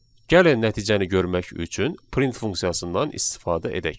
Gəlin nəticəni görmək üçün print funksiyasından istifadə edək.